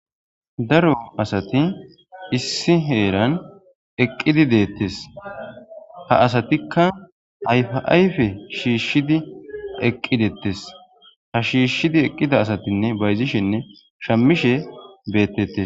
daro asati issi heeran eqqidi deettes ha asatikka ayfaayfe shiishshidi eqqideettes ha shiishshidi eqqida asatinne bayzishenne shammishe beettees